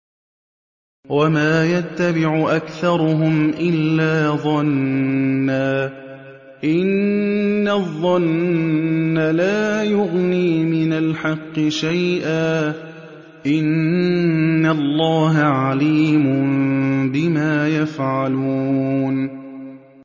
وَمَا يَتَّبِعُ أَكْثَرُهُمْ إِلَّا ظَنًّا ۚ إِنَّ الظَّنَّ لَا يُغْنِي مِنَ الْحَقِّ شَيْئًا ۚ إِنَّ اللَّهَ عَلِيمٌ بِمَا يَفْعَلُونَ